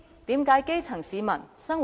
這就是基層市民的生活。